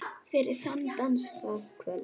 Fyrir þann dans, það kvöld.